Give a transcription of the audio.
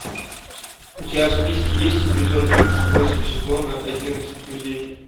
у тебя в списке есть эпизод тридцать восемь сезона одиннадцать друзей